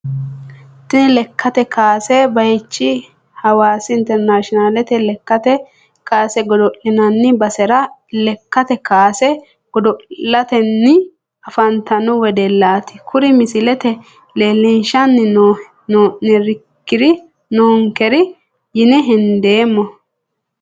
Tini lekate kaase bayichi hawaasi internationalete lekate kaase godolinani basera lekate kaase godolitani afantano wedelaati kuri misilete leelishani noonkeri yine hendeemo.